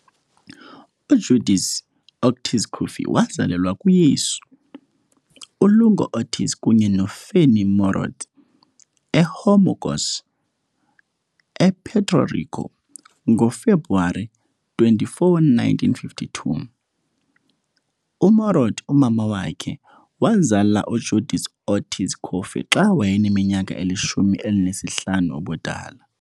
UJudith Ortíz Cofer wazalelwa kuYesu uLugo Ortíz kunye noFanny Morot eHormigueros, ePuerto Rico, ngoFebruwari 24, 1952. UMorot, umama wakhe, wazala uJudith Ortíz Cofer xa wayeneminyaka elishumi elinesihlanu ubudala.